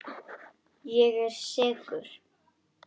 Ég er sekur.